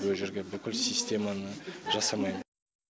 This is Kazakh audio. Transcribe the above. о жерге бүкіл системаны жасамай